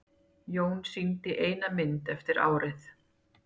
Jón sýndi eina mynd eftir árið.